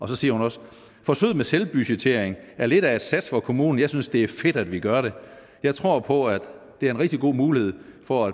så siger hun også forsøget med selvbudgettering er lidt af et sats for kommunen jeg synes det er fedt at vi gør det jeg tror på at det er en rigtig god mulighed for